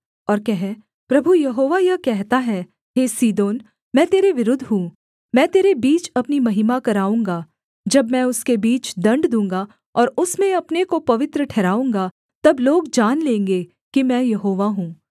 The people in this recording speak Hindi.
और कह प्रभु यहोवा यह कहता है हे सीदोन मैं तेरे विरुद्ध हूँ मैं तेरे बीच अपनी महिमा कराऊँगा जब मैं उसके बीच दण्ड दूँगा और उसमें अपने को पवित्र ठहराऊँगा तब लोग जान लेंगे कि मैं यहोवा हूँ